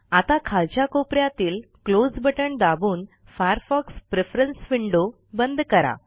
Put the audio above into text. आता खालच्या कोप यातील क्लोज बटन दाबून फायरफॉक्स प्रेफरन्स विंडो बंद करा